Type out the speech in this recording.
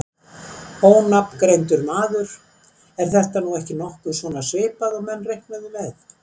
Ónafngreindur maður: Er þetta nú ekki nokkuð svona svipað og menn reiknuðu með?